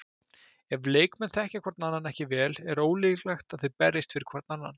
Ef leikmenn þekkja hvorn annan ekki vel er ólíklegt að þeir berjist fyrir hvorn annan.